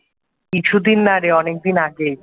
কিছুদিন না রে অনেকদিন আগেই